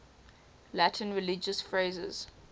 latin religious phrases